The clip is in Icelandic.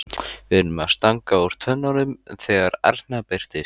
Við erum að stanga úr tönnunum þegar Erna birtist.